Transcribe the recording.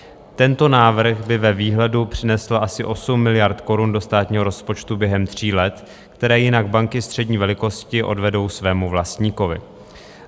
Tento návrh by ve výhledu přinesl asi 8 miliard korun do státního rozpočtu během tří let, které jinak banky střední velikosti odvedou svému vlastníkovi.